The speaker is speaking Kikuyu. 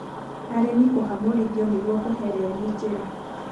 arĩmi kũhamũrithio nĩguo kũhe reri njĩra